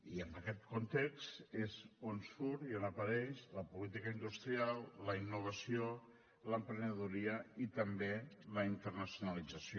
i en aquest context és on surt i on apareix la política industrial la innovació l’emprenedoria i també la internacionalització